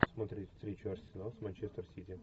смотреть встречу арсенал с манчестер сити